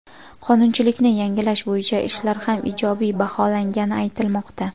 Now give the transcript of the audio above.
qonunchilikni yangilash bo‘yicha ishlar ham ijobiy baholangani aytilmoqda.